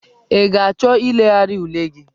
Ị ga-achọ ilegharị ule gị?